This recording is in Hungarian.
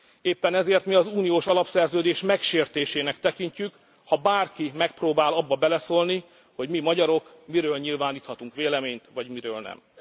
Éppen ezért mi az uniós alapszerződés megsértésének tekintjük, ha bárki megpróbál abba beleszólni, hogy mi, magyarok miről nyilváníthatunk véleményt, vagy miről